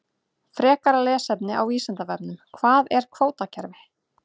Frekara lesefni á Vísindavefnum: Hvað er kvótakerfi?